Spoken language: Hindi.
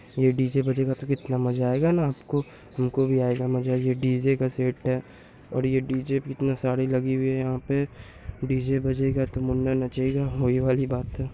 ये डी.जे. बजेगा तो कितना मज़ा आएगा न। आपको हमको भी आएगा मज़ा। ये डी.जे. का सेट है और ये डी.जे. भी कितने सारे लगी हुई है। पे डी.जे. बजेगा तो मुन्ना नचेगा होली वाली बात है।